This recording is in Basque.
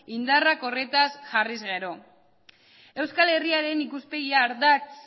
indarrak horretaz jarri ezkero euskal herriaren ikuspegi ardatz